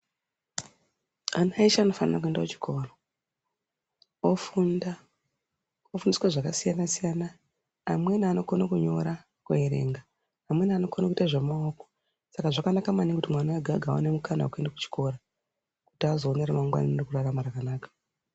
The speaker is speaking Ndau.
Ana she anofanira kuenda kuchikoro ofunda ofundiswa zvakasiyana-siyana. Amweni anokona kunyora kuverenga amweni anokona kuita zvemaoko. Saka zvakanaka maningi kuti mwana vega-vega, aone mukana vekuenda kuchikora kuti azoone ramangwana rekurarama rakanaka.